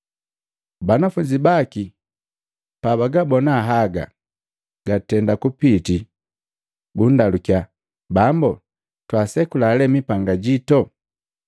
Banafunzi baki pabagabona haga gatenda kupiti bundalukiya, “Bambu, twaasekula lee ni mipanga jito?”